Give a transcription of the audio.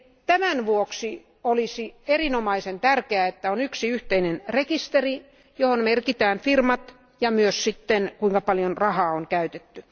Tämän vuoksi olisi erinomaisen tärkeää, että on yksi yhteinen rekisteri, johon merkitään firmat ja myös kuinka paljon rahaa on käytetty.